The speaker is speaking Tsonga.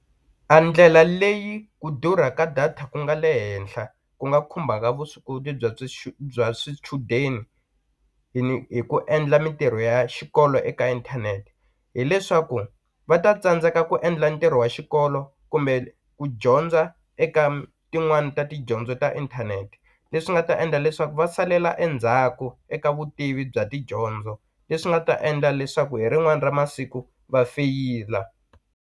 A ndlela leyi ku durha ka data ku nga le henhla ku nga khumbaka vuswikoti bya bya swichudeni hi ni hi ku endla mintirho ya xikolo eka inthanete hileswaku va ta tsandzeka ku endla ntirho wa xikolo kumbe ku dyondza eka tin'wani ta tidyondzo ta inthanete leswi nga ta endla leswaku va salela endzhaku eka vutivi bya tidyondzo leswi nga ta endla leswaku hi rin'wana ra masiku va feyila.